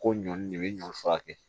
Ko ɲɔn de bɛ ɲɔ fura kɛ